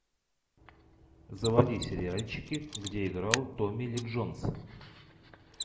заводи сериальчики где играл томми ли джонс